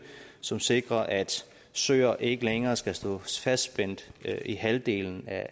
som sikrer at søer ikke længere skal stå fastspændt i halvdelen af